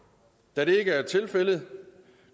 da det ikke er tilfældet